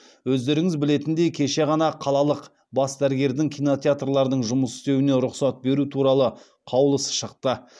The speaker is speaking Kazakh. өздеріңіз білетіндей кеше ғана қалалық бас дәрігердің кинотеатрлардың жұмыс істеуіне рұқсат беру туралы қаулысы шықты